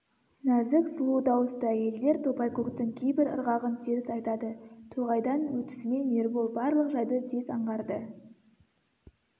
нәзік сұлу дауысты әйелдер топайкөктің кейбір ырғағын теріс айтады тоғайдан өтісімен ербол барлық жайды тез аңғарды